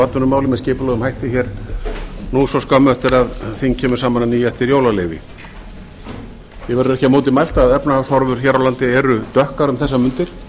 atvinnumál með skipulegum hætti nú svo skömmu bætur að þing kemur saman að nýju eftir jólaleyfi því verður ekki á móti mælt að efnahagshorfur hér á landi eru dökkar um þessar mundir